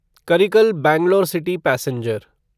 Karikal Bangalore city passenger